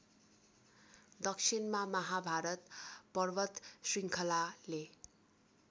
दक्षिणमा महाभारत पर्वतशृङ्खलाले